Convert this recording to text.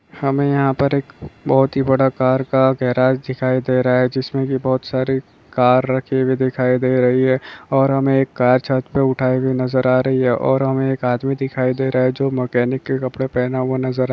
यहाँ पर एक बहुत ही बड़ा कार का गेराज दिखाई दे रहा है। जिसमे की बहुत सारी कार रखी हुई दिखाई दे रही है और हमे एक कार छतपे उठाई हूई नजर आ रही है और हमे एक आदमी दिखाई दे रहा है। जो मकेनिक के कपड़े पेहने हुए नजर आ रहा है।